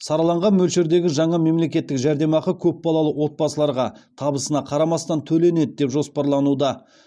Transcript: сараланған мөлшердегі жаңа мемлекеттік жәрдемақы көпбалалы отбасыларға табысына қарамастан төленеді деп жоспарлануда